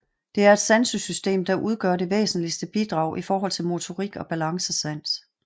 Det er et sansesystem der udgør det væsentligste bidrag i forhold til motorik og balancesans